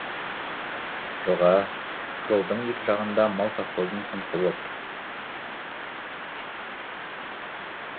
жоға жолдың екі жағында мал совхоздары сыңсып отыр